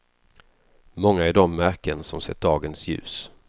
Många är de märken som sett dagens ljus.